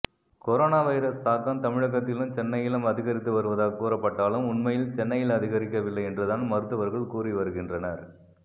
corona virus தாக்கம் தமிழகத்திலும் சென்னையிலும் அதிகரித்து வருவதாக கூறப்பட்டாலும் உண்மையில் சென்னையில் அதிகரிக்கவில்லை என்றுதான் மருத்துவர்கள் கூறி வருகின்றனர்